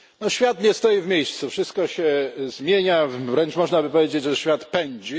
Świat nie stoi w miejscu, wszystko się zmienia, wręcz można by powiedzieć, że świat pędzi.